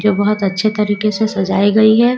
जो बहुत अच्छे तरीके से सजाई गई है।